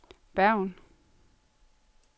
Bergen